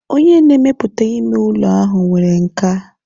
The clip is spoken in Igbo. Onye na-emepụta ime ụlọ ahụ nwere nkà.